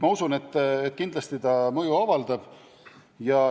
Ma usun, et see muudatus mõju kindlasti avaldab.